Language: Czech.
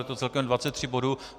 Je to celkem 23 bodů.